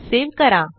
save करा